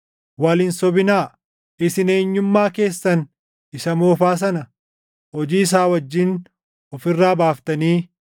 Wal hin sobinaa; isin eenyummaa keessan isa moofaa sana hojii isaa wajjin of irraa baaftanii